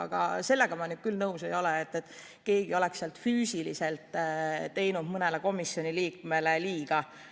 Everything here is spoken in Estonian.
Aga sellega ma nüüd küll nõus ei ole, et keegi oleks füüsiliselt mõnele komisjoni liikmele liiga teinud.